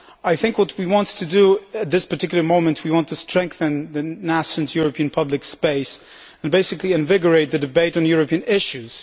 I think what we want to do at this particular moment is to strengthen the nascent European public space and basically invigorate the debate on European issues.